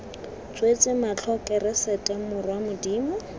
tswetse matlho keresete morwa modimo